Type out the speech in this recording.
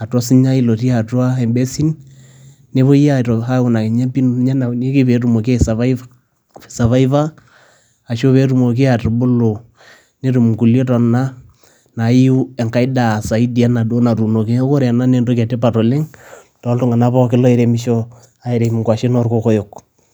atua osinyai lotii atua embesin nepoi aa aipim pee etumoki aisapaipa arushuu pee etumoki atubulu netumo ingulie tona naaiu enkae daa saidi enaduo nutuunie. Ore ena naa entoki etipat oleng' too tunganak pookin loo reimisho, airem enkuashen oo kokoyo.